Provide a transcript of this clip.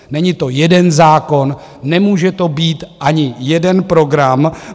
Není to jeden zákon, nemůže to být ani jeden program.